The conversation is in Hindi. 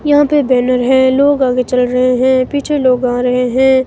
यहां पे बैनर है लोग आगे चल रहे हैं पीछे लोग आ रहे हैं।